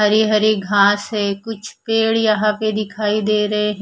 हरी हरी घास है कुछ पेड़ यहां पे दिखाई दे रहे--